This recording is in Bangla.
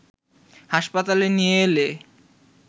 হাসপাতালে নিয়ে এলে